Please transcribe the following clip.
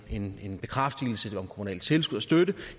en bekræftelse om kommunalt tilskud og støtte